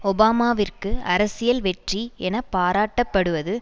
ஒபாமாவிற்கு அரசியல் வெற்றி என பாராட்டப்படுவது